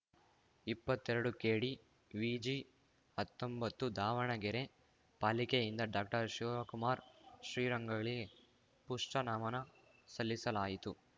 ಇಪ್ಪತ್ತೆರಡುಕೆಡಿವಿಜಿಹತ್ತೊಂಬತ್ತು Davanagere ಪಾಲಿಕೆಯಿಂದ ಡಾಕ್ಟರ್ಶಿವಕುಮಾರ್ ಶ್ರೀರಂಗಳಿಗೆ push ನಮನ ಸಲ್ಲಿಸಲಾಯಿತು